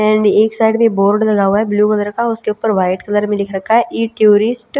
and एक side में board लगा हुआ है ब्लू कलर का उसके ऊपर व्हाइट कलर में लिख रखा है ई टूरिस्ट --